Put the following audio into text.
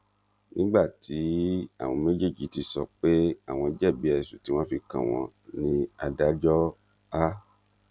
nígbà tí àwọn méjèèjì ti sọ pé àwọn jẹbi ẹsùn tí wọn fi kàn wọn ní adájọ a